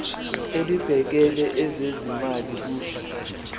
elibhekele ezezimali kusho